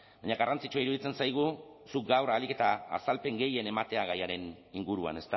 baina garrantzitsua iruditzen zaigu zuk gaur ahalik eta azalpen gehien ematea gaiaren inguruan